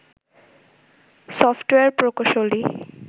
software প্রকৌশলী